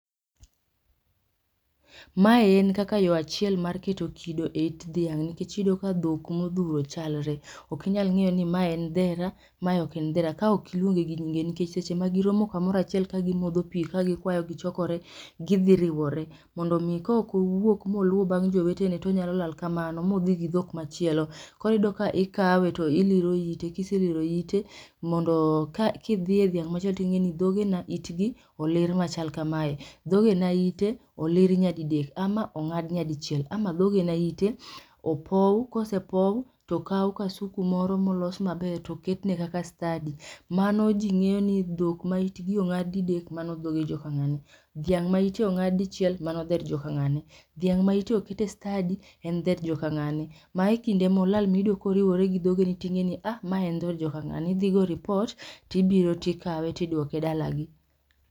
Mae en kaka yo achiel mar keto kido e it dhiang', nikech iyudo ka dhok modhuro chalre, ok inyal ng'eyo ni ma en dhera, ma ok en dhera ka ok iluonge gi nyinge nikech seche ma giromo komoro achiel ka gimodho pi ka gikwayo gichokore, gidhi riwore. Mondo mi kok owuok moluwo bang' jowetene tonyalo lal kamano modhi gi dhok machielo, koro iyudo ka ikawe to iliro ite, kiseliro ite, mondo ka kidhiye dhiang machielo ting'eni dhogena itgi olir machal kamae, dhogena ite olir nyadidek ama ong'ad nyadichiel ama dhogena ite, opowu, kosepowu tokaw kasuku moro molos maber toketne kaka stadi. Mano ji ng'eyo ni dhok ma itgi ong'ad didek mano dhoge jo ka ng'ane, dhiang' ma ite ong'ad dichiel, mano dher jo kang'ane, dhiang' ma ite oket e stadi, en dher jo kang'ane. Mae e kinde molal miyudo koriwore gi dhogeni ting'eni um ma en dher jo kang'ane idhi go ripot tibiro tikawe tiduoke dalagi